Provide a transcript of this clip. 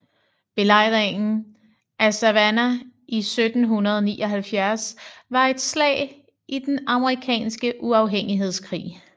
Belejringen af Savannah i 1779 var et slag i den amerikanske uafhængighedskrig